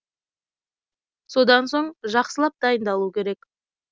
содан соң жақсылап дайындалу керек